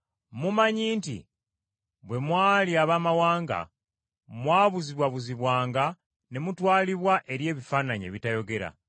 Mumanyi nti bwe mwali Abaamawanga mwabuzibwabuzibwanga ne mutwalibwa eri ebifaananyi ebitayogera.